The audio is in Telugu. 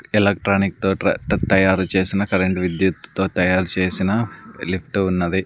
ఎలక్ట్రానిక్ తో ట్ర తయారు చేసిన కరెంటు విద్యుత్తో తయారుచేసిన లిఫ్టు ఉన్నది.